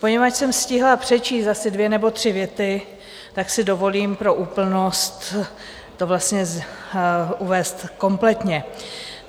Poněvadž jsem stihla přečíst asi dvě nebo tři věty, tak si dovolím pro úplnost to vlastně uvést kompletně.